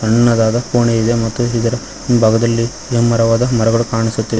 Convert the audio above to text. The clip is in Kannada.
ಸಣ್ಣದಾದ ಕೋಣೆ ಇದೆ ಮತ್ತು ಇದರ ಹಿಂಭಾಗದಲ್ಲಿ ಎಮ್ಮಮರವಾದ ಮರಗಳು ಕಾಣಿಸುತ್ತಿ--